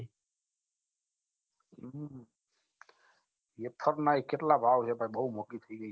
વેફરના કેટલા ભાવ છે ભાઈ બહુ મોઘી થઈ ગયી છે